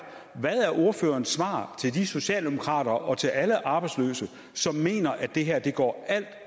ordførerens svar til de socialdemokrater og til alle arbejdsløse som mener at det her går alt